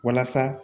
Walasa